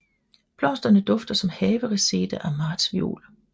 Blomsterne dufter som havereseda og martsviol